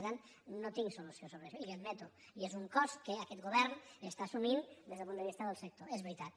per tant no tinc solució sobre això i li ho admeto i és un cost que aquest govern està assumint des del punt de vista del sector és veritat